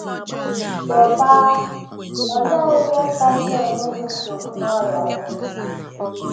Teta!: Olee ihe kasị enye gị nsogbu n’ọrịa gị?